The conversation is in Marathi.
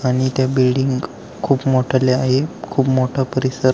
आणि त्या बिल्डिंग खूप मोठल्या आहे खूप मोठा परिसर--